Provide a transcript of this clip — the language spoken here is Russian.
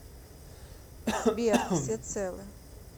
сбер все целы